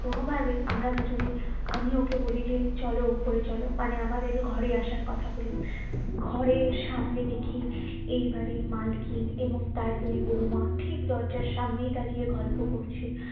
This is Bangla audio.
কোনো ভাবেই আমরা দুজনে আমি ওকে বলি যে চলো উপরে চলো মানে আমাদের ঘরে আসার কথা বলি ঘরের সামনে দেখি এই বাড়ির মালকিন এবং তার দুই বৌমা ঠিক দরজার সামনেই দাঁড়িয়ে গল্প করছে